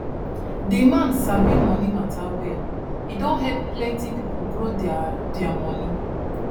di man sabi money matter well e don help plenty people grow their their money